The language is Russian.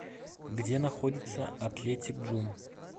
где находится атлетик джум